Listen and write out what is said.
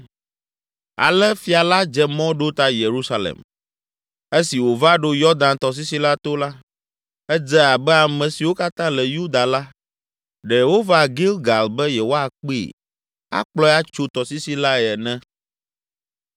Ale fia la dze mɔ ɖo ta Yerusalem. Esi wòva ɖo Yɔdan tɔsisi la to la, edze abe ame siwo katã le Yuda la, ɖe wova Gilgal be yewoakpee, akplɔe atso tɔsisi lae ene!